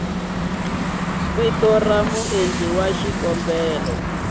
vito ra muendli wa xikombelo